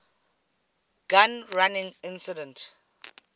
gun running incident